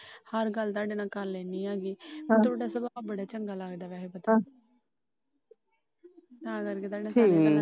ਹਰ ਗੱਲ ਤੁਹਾਡੇ ਨਾਲ ਕਰ ਲੈਣੀ ਆ। ਮੈਨੂੰ ਤੁਹਾਡਾ ਸੁਭਾ ਬੜਾ ਚੰਗਾ ਲੱਗਦਾ ਵੈਸੇ ਤਾ ਕਰਕੇ ਕਰ ਲੈਣੀ ਆ।